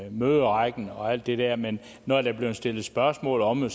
i møderækken og alt det der men når der bliver stillet spørgsmål om det